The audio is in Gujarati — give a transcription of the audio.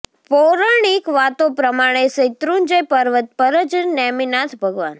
પૌરણિક વાતો પ્રમાણે શૈત્રુંજય પર્વત પર જ નેમિનાથ ભગવાન